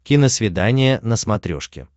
киносвидание на смотрешке